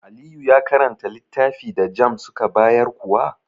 Aliyu ka karanta littafi da JAMB zuka bayar kuwa?